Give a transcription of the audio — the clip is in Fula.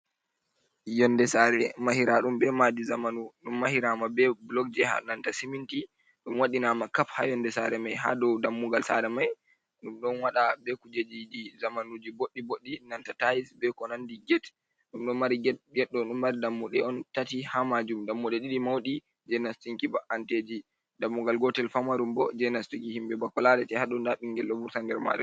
Yonde sare mahiraɗum be madi zamanu ɗum mahirama be blog je ha nanta siminti ɗum wadinama kap ha yonde sare mai ha dow dammugal sare mai ɗum ɗon wada be kujejii zamanuji boɗɗi boɗɗi nanta tais be ko nandi, get dum don mari geddo dun mari dammude on tati ha majum dammuɗe ɗiɗi maudi jenastuki ba’’anteji dammugal gotel famarum bo jenastiki himɓɓe bako larete ha ɗo nda ɓingel ɗo vurta nder made.